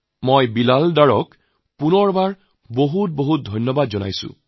মই বিলাল ডাৰক বহুত বহুত অভিনন্দন জনাইছোঁ